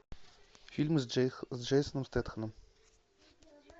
фильм с джейсоном стэтхэмом